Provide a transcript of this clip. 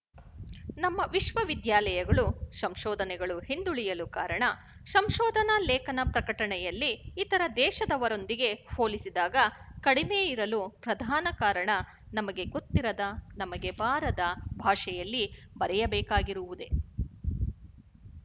ನಮ್ಮ ವಿಶವವಿದ್ಯಾಲಯಗಳು ಸಂಶೋಧನೆಗಳು ಹಿಂದುಳಿಯಲು ಕಾರಣ ಸಂಶೋಧನ ಲೇಖನ ಪ್ರಕಟಣೆಯಲ್ಲಿ ಇತರ ದೇಶದವರೊಂದಿಗೆ ಹೋಲಿಸಿದಾಗ ಕಡಿಮೆಯಿರಲು ಪ್ರಧಾನ ಕಾರಣ ನಮಗೆ ಗೊತ್ತಿರದ ನಮಗೆ ಬಾರದ ಭಾಷೆಯಲ್ಲಿ ಬರೆಯಬೇಕಾಗಿರುವುದೇ